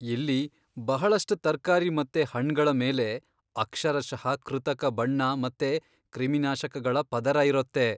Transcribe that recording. ಇಲ್ಲಿ ಬಹಳಷ್ಟ್ ತರ್ಕಾರಿ ಮತ್ತೆ ಹಣ್ಣ್ಗಳ ಮೇಲೆ ಅಕ್ಷರಷಃ ಕೃತಕ ಬಣ್ಣ ಮತ್ತೆ ಕ್ರಿಮಿನಾಶಕಗಳ್ ಪದರರಿರೊತ್ತೆ.